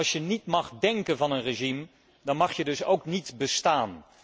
Als je niet mag denken van een regime, dan mag je dus ook niet bestaan.